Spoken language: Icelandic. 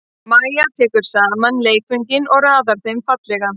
Mæja tekur saman leikföngin og raðar þeim fallega.